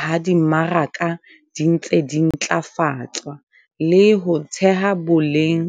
ha di mmaraka di ntse di ntlafatswa, le ho theha boleng